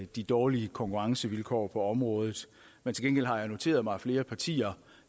de dårlige konkurrencevilkår på området men til gengæld har jeg noteret mig at flere partier